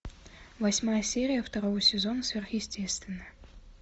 восьмая серия второго сезона сверхъестественное